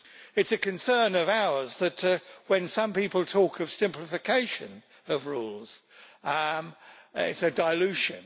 It is a concern of ours that when some people talk of simplification of rules, it is a dilution.